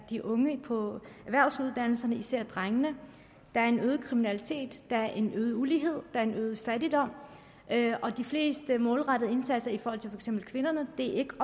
de unge på erhvervsuddannelserne især blandt drengene der er en øget kriminalitet der er en øget ulighed der er en øget fattigdom og de fleste målrettede indsatser i for eksempel kvinder er ikke